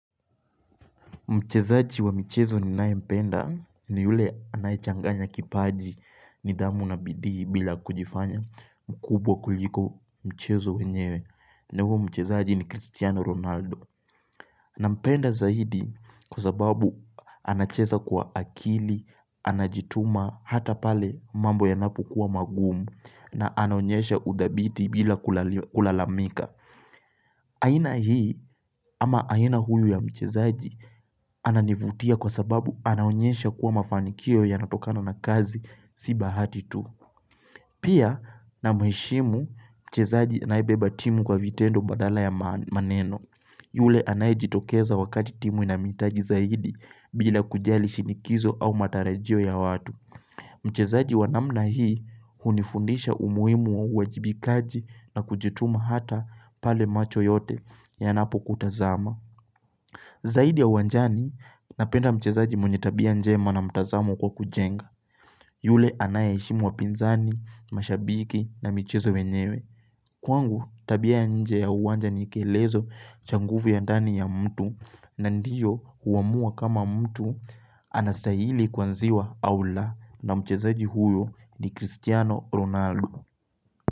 Mchezaji wa michezo ninayempenda ni yule anayechanganya kipaji nidhamu na bidii bila kujifanya mkubwa kuliko mchezo wenyewe. Na huo mchezaji ni Cristiano Ronaldo. Nampenda zaidi kwa sababu anacheza kwa akili, anajituma hata pale mambo yanapo kuwa magumu na anonyesha udhabiti bila kulalamika. Aina hii ama aina huyu ya mchezaji ananivutia kwa sababu anaonyesha kuwa mafanikio yanatokano na kazi si bahati tu. Pia namuheshimu mchezaji anayebeba timu kwa vitendo badala ya maneno. Yule anayejitokeza wakati timu inamuhitaji zaidi bila kujali shinikizo au matarajio ya watu. Mchezaji wa namna hii hunifundisha umuhimu. Uajibikaji na kujituma hata pale macho yote yanapokutazama. Zaidi ya uwanjani, napenda mchezaji mwenye tabia njema na mtazamo kwa kujenga. Yule anayeheshimu wapinzani, mashabiki na michezo wenyewe. Kwangu tabia nje ya uwanja ni kielezo cha nguvu ya ndani ya mtu na ndiyo huamua kama mtu anastahili kuanziwa au la na mchezaji huyo ni Cristiano Ronaldo.